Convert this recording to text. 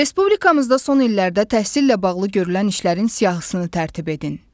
Respublikamızda son illərdə təhsillə bağlı görülən işlərin siyahısını tərtib edin.